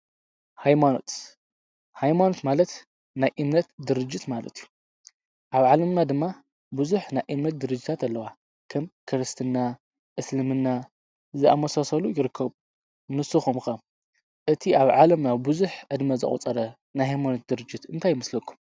ሃይማኖት፡- ሃይማኖት ማለት ናይ እምነት ድርጅት ማለት እዩ፡፡ ኣብ ዓለምና ድማ ብዙሕ ናይ እምነት ድርጅታት ኣለዋ፡፡ ከም ክርስትና፣ እስልምና ዝኣመሳሰሉ ይርከቡ፡፡ ንሱኩም ከ እቲ ኣብ ዓለም ኣብ ብዙሕ ዕድመ ዝቝፀረ ናይ ሃይሞኖት ድርጅት እንታይ ይምስለኩም?